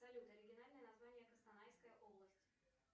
салют оригинальное название костанайская область